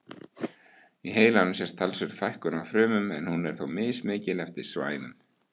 Í heilanum sést talsverð fækkun á frumum en hún er þó mismikil eftir svæðum.